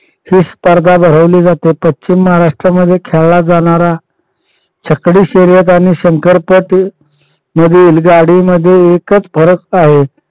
ही स्पर्धा भरवली जाते. पश्चिम महाराष्ट्र मध्ये खेळाला जाणारा छकडी शर्यत आणि शंकर पट यातील गाडीमध्ये एकच फरक आहे